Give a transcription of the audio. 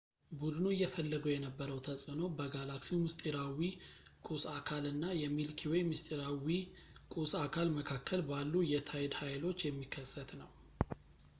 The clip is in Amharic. ቡድኑ እየፈለገው የነበረው ተፅዕኖ በጋላክሲው ምስጢራዊ ቁስ አካል እና የሚልኪ ዌይ ምስጢራዊ ቁስ አካል መካከል ባሉ የታይድ ኃይሎች የሚከሰት ነው